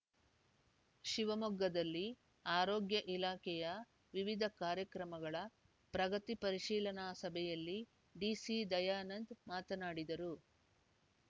ಶಿವಮೊಗ್ಗದಲ್ಲಿ ಆರೋಗ್ಯ ಇಲಾಖೆಯ ವಿವಿಧ ಕಾರ್ಯಕ್ರಮಗಳ ಪ್ರಗತಿ ಪರಿಶೀಲನಾ ಸಭೆಯಲ್ಲಿ ಡಿಸಿ ದಯಾನಂದ ಮಾತನಾಡಿದರು